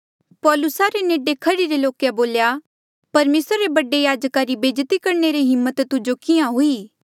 पौलुसा रे नेडे खड़ीरे लोके बोल्या परमेसरा रे बडे याजका रा बेज्जती करणे री हिम्मत तुजो किहाँ हुई